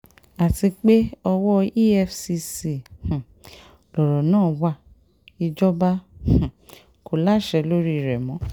àti pé owó efcc um lọ̀rọ̀ náà wá ìjọba um kò láṣẹ lórí rẹ̀ mọ́